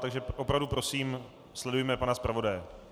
Takže opravdu prosím, sledujme pana zpravodaje.